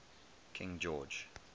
king george